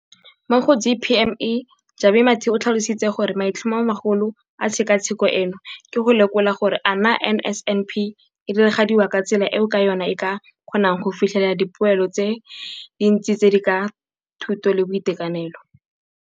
mo go DPME, Jabu Mathe, o tlhalositse gore maitlhomomagolo a tshekatsheko eno ke go lekola gore a naa NSNP e diragadiwa ka tsela eo ka yona e ka kgonang go fitlhelela dipoelo tse dintsi tse di ka ga thuto le boitekanelo.